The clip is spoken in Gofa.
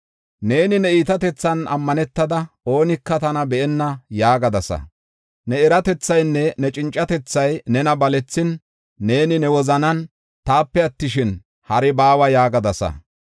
“Neeni ne iitatethan ammanetada, ‘Oonika tana be7enna’ yaagadasa. Ne eratethaynne cincatethay nena balethin, neeni ne wozanan, ‘Taape attishin, hari baawa’ yaagadasa.